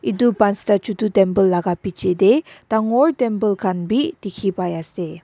etu pansta chotu temple laga piche teh dangor temple khan bhi dikhi pai ase.